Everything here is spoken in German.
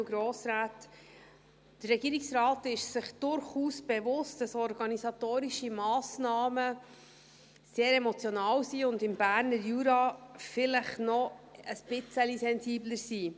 Der Regierungsrat ist sich durchaus bewusst, dass organisatorische Massnahmen sehr emotional und im Berner Jura vielleicht noch ein bisschen sensibler sind.